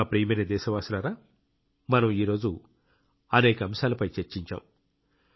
నా ప్రియమైన దేశవాసులారా మనం ఈరోజు అనేక అంశాలపై చర్చించాం